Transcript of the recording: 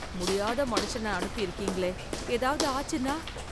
முடியாத மனுஷன அனுப்பி இருக்கீங்களே ஏதாவது ஆச்சுன்னா?